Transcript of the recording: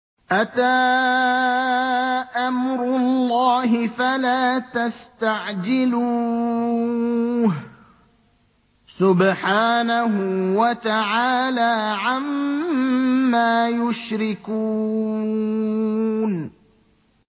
أَتَىٰ أَمْرُ اللَّهِ فَلَا تَسْتَعْجِلُوهُ ۚ سُبْحَانَهُ وَتَعَالَىٰ عَمَّا يُشْرِكُونَ